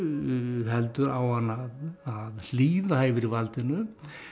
heldur á hann að hlýða yfirvaldinu